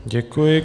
Děkuji.